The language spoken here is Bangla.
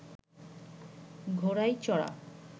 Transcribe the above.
ঘোড়ায় চড়া